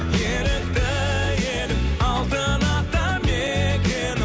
ерікті елім алтын ата мекенім